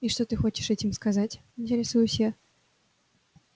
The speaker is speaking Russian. и что ты хочешь этим сказать интересуюсь я